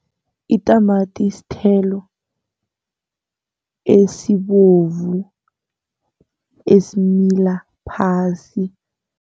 Itamati sithelo esibovu, esimila phasi.